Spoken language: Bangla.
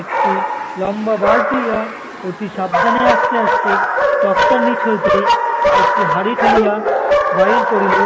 একটি লম্বা বাঁশ দিয়া অতি সাবধানে আস্তে আস্তে তক্তার নিচ হইতে একটি হাঁড়ি ঠেলিয়া বাইর করিল।